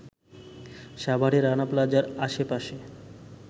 সাভারের রানা প্লাজার আশপাশের